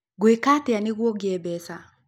Ngwĩka atĩa nĩguo ngĩe mbeca